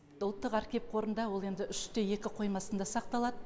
ұлттық архив қорында ол енді үш те екі қоймасында сақталады